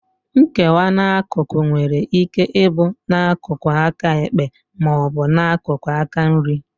Nkewa n'akụkụ nwere ike ịbụ n'akụkụ aka ekpe ma ọ bụ n'akụkụ aka nri